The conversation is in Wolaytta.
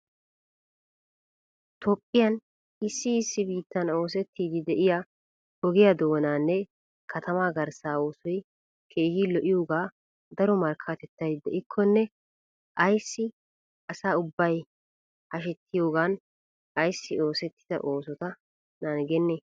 Toophiyan issi issi biittan oosseti de'iya ogiya doonanne katamaa garssa oosoy keehi lo'iyooga daro markkatettay de'ikkone ayssi assa ubbay hashshetiyoogan ayssi oosetida oossota nangene?